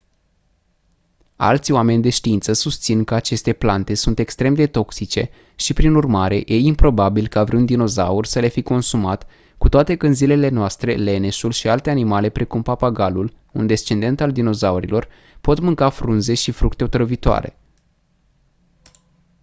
alți oameni de știință susțin că aceste plante sunt extrem de toxice și prin urmare e improbabil ca vreun dinozaur să le fi consumat cu toate că în zilele noastre leneșul și alte animale precum papagalul un descendent al dinozaurilor pot mânca frunze și fructe otrăvitoare